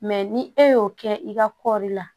Mɛ ni e y'o kɛ i ka kɔɔri la